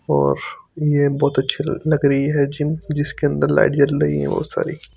और ये बहोत अच्छी लग रही हैं जिम जिसके अंदर लाइट जल रही है बहोत सारी।